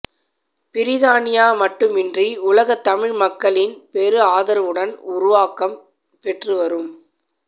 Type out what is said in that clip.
பிரித்தானியா மட்டுமன்றி உலகத் தமிழ் மக்களின் பெரு ஆதரவுடன் உருவக்கம் பெற்றுவரும்